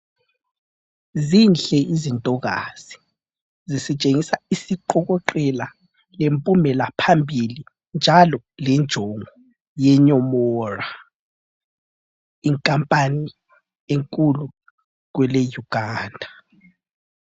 Zinhle izintokazi zisitshengisa isiqokoqela lempumela phambili njalo lenjongo ye Nyomora, inkampani enkulu Kwele Uganda